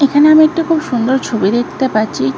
এখানে আমি একটা খুব সুন্দর ছবি দেখতে পাচ্ছি--